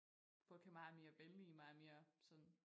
Folk er meget mere venlige meget mere sådan